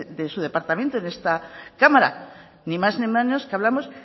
su departamento en esta cámara ni más ni menos que hablamos